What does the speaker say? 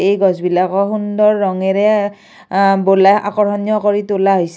এই গছবিলাকো সুন্দৰ ৰঙেৰে অ বোলাই আকৰ্ষণীয় কৰি তোলা হৈছে।